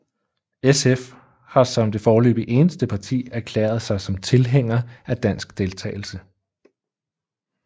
SF har som det foreløbig eneste parti erklæret sig som tilhænger af dansk deltagelse